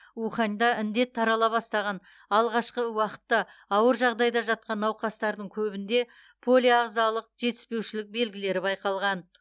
уханьда індет тарала бастаған алғашқы уақытта ауыр жағдайда жатқан науқастардың көбінде полиағзалық жетіспеушілік белгілері байқалған